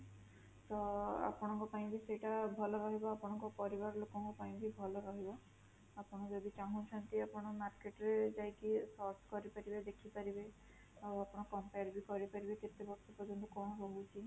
ତ ଆପଣଙ୍କ ପାଇଁ ବି ସେଟା ଭଲ ରହିବ ଆପଣଙ୍କ ପରିବାର ଲୋକଙ୍କ ପାଇଁ ବି ଭଲ ରହିବ, ଆପଣ ଯଦି ଚାହୁଁଛନ୍ତି ଆପଣ market ରେ ଯାଇକି search କରିପାରିବେ ଦେଖିପାରିବେ